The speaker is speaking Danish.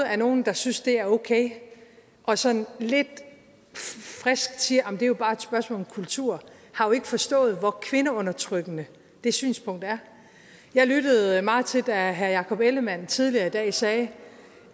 er nogen der synes det er okay og sådan lidt frisk siger arh det er bare et spørgsmål om kultur har jo ikke forstået hvor kvindeundertrykkende det synspunkt er jeg lyttede meget da herre jakob ellemann jensen tidligere i dag sagde